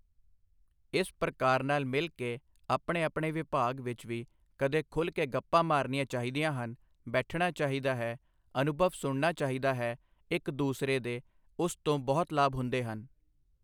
ਇਸ ਪ੍ਰਕਾਰ ਨਾਲ ਮਿਲ ਕੇ ਆਪਣੇ ਆਪਣੇ ਵਿਭਾਗ ਵਿੱਚ ਵੀ ਕਦੇ ਖੁੱਲ ਕੇ ਗੱਪਾਂ ਮਾਰਨੀਆਂ ਚਾਹੀਦੀਆਂ ਹਨ, ਬੈਠਣਾ ਚਾਹੀਦਾ ਹੈ, ਅਨੁਭਵ ਸੁਣਨਾ ਚਾਹੀਦਾ ਹੈ ਇੱਕ ਦੂਸਰੇ ਦੇ ਉਸ ਤੋਂ ਬਹੁਤ ਲਾਭ ਹੁੰਦੇ ਹਨ।